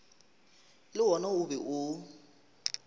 le wona o be o